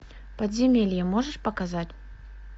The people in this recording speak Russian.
подземелье можешь показать